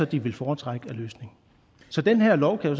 de vil foretrække af løsning så den her lov kan jo